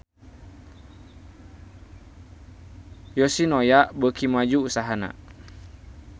Yoshinoya beuki maju usahana